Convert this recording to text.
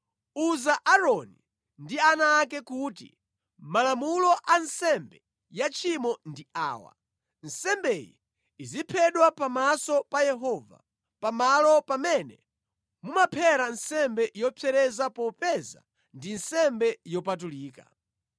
“Uza Aaroni ndi ana ake kuti, ‘Malamulo a nsembe ya tchimo ndi awa: Nsembeyi iziphedwa pamaso pa Yehova pa malo pamene mumaphera nsembe yopsereza popeza ndi nsembe yopatulika.